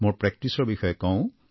মোৰ প্ৰেকটিছৰ বিষয়ে কওঁ